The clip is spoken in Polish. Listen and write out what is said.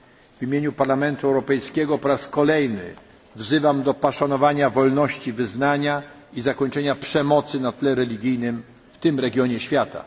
W imieniu Parlamentu Europejskiego po raz kolejny wzywam do poszanowania wolności wyznania i zakończenia przemocy na tle religijnym w tym regionie świata.